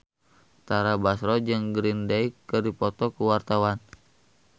Tara Basro jeung Green Day keur dipoto ku wartawan